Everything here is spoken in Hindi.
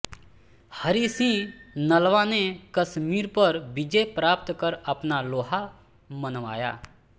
हरि सिंह नलवा ने कश्मीर पर विजय प्राप्त कर अपना लोहा मनवाया